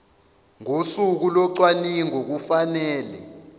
ngosuku locwaningo kufanele